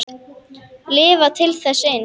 Lifa til þess eins.